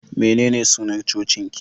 Menene sunar cocin ki?